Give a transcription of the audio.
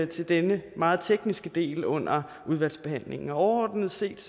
til denne meget tekniske del under udvalgsbehandlingen overordnet set